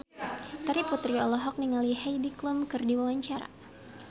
Terry Putri olohok ningali Heidi Klum keur diwawancara